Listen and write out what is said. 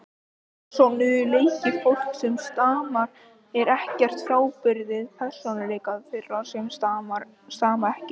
Persónuleiki fólks sem stamar er ekkert frábrugðinn persónuleika þeirra sem stama ekki.